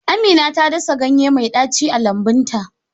Amina ta dasa ganye mai daci a lambun ta.